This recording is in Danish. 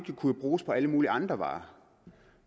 på alle mulige andre varer